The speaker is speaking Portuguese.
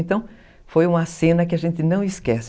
Então, foi uma cena que a gente não esquece.